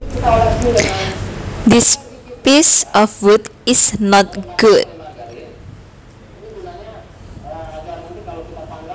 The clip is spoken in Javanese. This piece of wood is not good